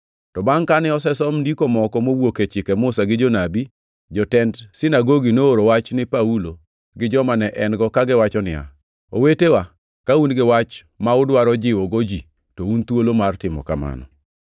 To bangʼ kane osesom Ndiko moko mowuok e Chike Musa gi Jonabi, jotend sinagogi nooro wach ni Paulo gi joma ne en-go kagiwacho niya, “Owetewa, ka un gi wach ma udwaro jiwogo ji, to un thuolo mar timo mano.”